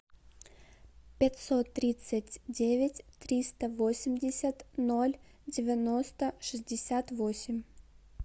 пятьсот тридцать девять триста восемьдесят ноль девяносто шестьдесят восемь